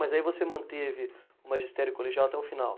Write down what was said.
Mas aí você manteve o magistério colegial até o final?